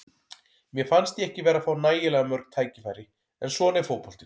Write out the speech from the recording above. Mér fannst ég ekki vera að fá nægilega mörg tækifæri, en svona er fótboltinn.